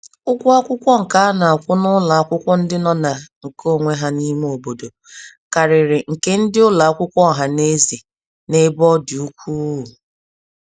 Ụgwọ akwụkwọ nke anakwụ n'ụlọ akwụkwọ ndị nọ ná nke onwe ha n'ime obodo, karịrị nke ndị ụlọ akwụkwọ ohaneze, n'ebe ọ dị ukwuu.